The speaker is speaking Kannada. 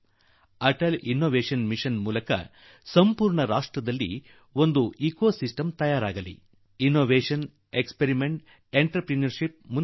ಈ ಂIಒ ಮೂಲಕ ಅಟಲ್ ಇನ್ನೋವೇಷನ್ ಮಿಷನ್ ಮೂಲಕ ಇಡೀ ದೇಶದಲ್ಲಿ ಅನ್ವೇಷಣ ಪ್ರಯೋಗ ಉದ್ಯಮಶೀಲತೆಯ ಪರಿಸರ ನಿರ್ಮಾಣವಾಗಲಿದೆ